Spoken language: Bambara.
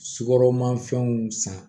Sukaro ma fɛnw san